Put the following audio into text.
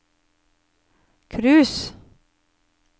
cruise